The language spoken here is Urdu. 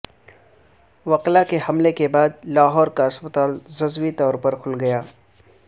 وکلا کے حملے کے بعد لاہور کا اسپتال جزوی طور پر کھل گیا